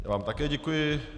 Já vám také děkuji.